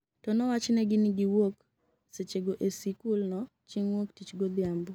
to nowachnegi ni giwuok seche go e sikul no chieng wuok tich godhiambo